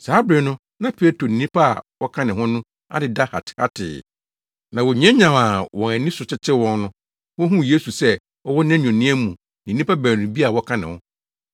Saa bere no na Petro ne nnipa a wɔka ne ho no adeda hatehatee na wonyanyan a wɔn ani so tetew wɔn no, wohuu Yesu sɛ ɔwɔ nʼanuonyam mu ne nnipa baanu bi a wɔka ne ho.